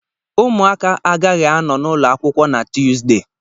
Ụmụaka agaghị anọ n'ụlọ akwụkwọ na Tuesday